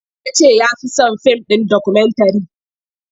Ya ce ya fi son fim dokumentare.